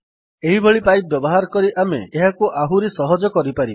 ଏହିଭଳି ପାଇପ୍ ବ୍ୟବହାର କରି ଆମେ ଏହାକୁ ଆହୁରି ସହଜରେ କରିପାରିବା